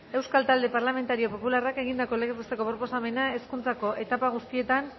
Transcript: euskal talde parlamentario popularrak egindako legez besteko proposamena hezkuntzako etapa guztietan